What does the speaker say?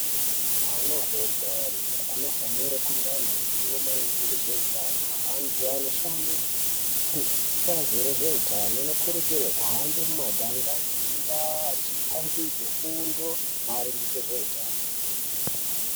Ana adoridori anofanira kunga ane ruzivo maringe ngezveutano antu anoshande kubazi rezveutano anokurudzirwe kuhambe mumaganga nemundaa achipangidze fundo maringe ngezveutano.